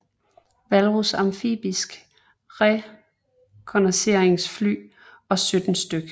Walrus amfibiske rekognosceringsfly og 17 stk